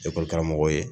Ekɔli karamɔgɔw ye